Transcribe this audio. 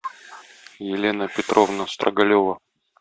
елена петровна строгалева